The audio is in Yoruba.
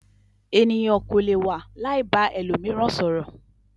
Ènìyàn kò lè wà láì ba ẹlòmíràn sọ̀rọ̀.